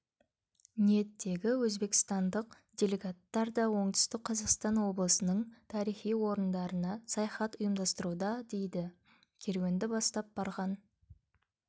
ниеттегі өзбекстандық делегаттар да оңтүстік қазақстан облысының тарихи орындарына саяхаттар ұйымдастыруда дейді керуенді бастап барған